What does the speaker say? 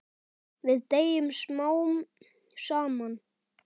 Við deyjum smám saman.